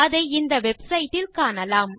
அதை இந்த வெப்சைட் ல் காணலாம்